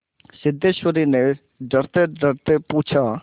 सिद्धेश्वर ने डरतेडरते पूछा